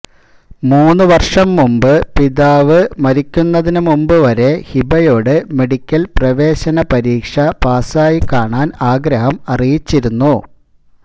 മൂന്ന് വര്ഷം മുമ്പ് പിതാവ് മരിക്കുന്നതിന് മുമ്പ് വരെ ഹിബയോട് മെഡിക്കല് പ്രവേശന പരീക്ഷ പാസായി കാണാന് ആഗ്രഹം അറിയിച്ചിരുന്നു